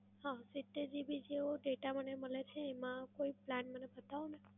હા સિત્તેર GB જેવો data મને મલે છે એમાં કોઈ plan મને બતવોને.